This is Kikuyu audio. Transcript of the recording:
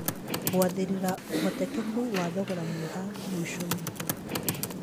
Gũathĩrira ũhotekeku wa thogora mwega mũicoinĩ